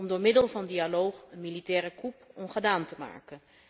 Om door middel van dialoog de militaire coup ongedaan te maken.